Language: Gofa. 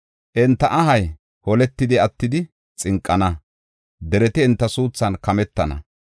Enta ahay holetidi, attidi xinqana; dereti enta suuthan kametana.